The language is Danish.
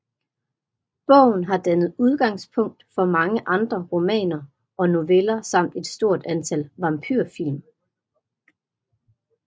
Bogen har dannet udgangspunkt for mange andre romaner og noveller samt et stort antal vampyrfilm